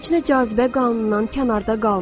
Heç nə cazibə qanunundan kənarda qalmır.